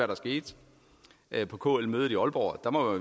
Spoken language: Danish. der skete på kl mødet i aalborg der må